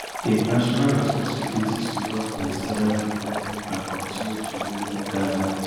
im national responsibilities towards palestinian pipo and continue to rule for gaza